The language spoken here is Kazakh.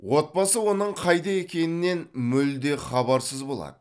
отбасы оның қайда екенінен мүлде хабарсыз болады